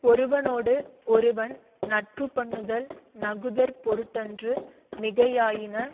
ஒருவனோடு ஒருவன் நட்பு பண்ணுதல் நகுதற்பொருட்டன்று மிகையாயின